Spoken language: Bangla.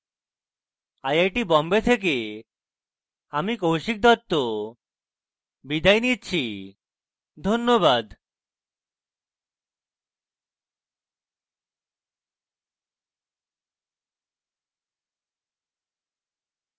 আই আই টী বোম্বে থেকে আমি কৌশিক দত্ত বিদায় নিচ্ছি ধন্যবাদ